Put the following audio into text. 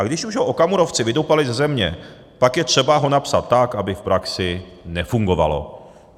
A když už ho okamurovci vydupali ze země, pak je třeba ho napsat tak, aby v praxi nefungovalo.